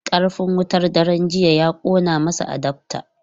Karfin wutar daren jiya ya kona masa adaftar.